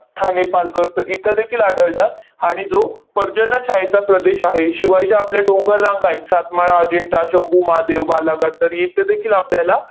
ठाणे, पालघर तर इथेदेखील आढळतात. आणि जो पर्जन्य छायेचा प्रदेश आहे, शिवाय जे आपल्या डोंगर रांगा आहेत, सातमाळा, अजिंठा, शंभू महादेव, बालाघाट तर इथेदेखील आपल्याला